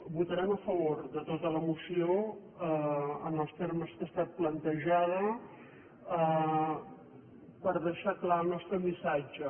votarem a favor de tota la mo·ció en els termes amb què ha estat plantejada per dei·xar clar el nostre missatge